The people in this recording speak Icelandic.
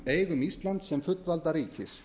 eigum íslands sem fullvalda ríkis